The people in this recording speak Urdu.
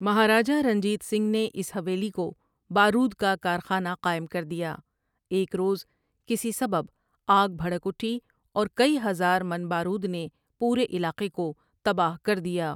مہاراجا رنجیت سنگھ نے اس حویلی کو بارود کا کارخانہ قائم کر دیا ایک روز کسی سبب آگ بھڑک اٹھی اور کئی ہزار من بارود نے پورے علاقے کو تباہ کر دیا۔